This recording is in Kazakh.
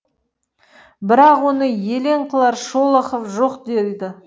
бірақ оны елең қылар шолохов жоқ дейді